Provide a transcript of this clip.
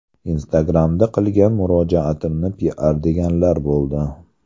Instagram’da qilgan murojaatimni piar deganlar bo‘ldi.